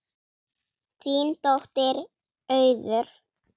Þín dóttir, Auður.